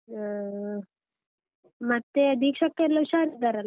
ಹ್ಮ್, ಮತ್ತೆ ದೀಕ್ಷಕ್ಕ ಎಲ್ಲ ಹುಷಾರಿದ್ದಾರಲ್ಲ?